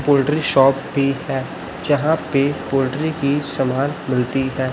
Poultry shop भी है जहां पे पोल्ट्री की समान मिलती है।